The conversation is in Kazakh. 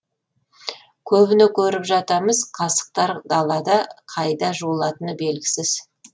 көбіне көріп жатамыз қасықтар далада қайда жуылатыны белгісіз